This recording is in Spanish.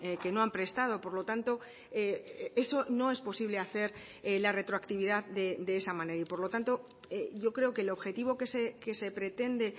que no han prestado por lo tanto eso no es posible hacer la retroactividad de esa manera y por lo tanto yo creo que el objetivo que se pretende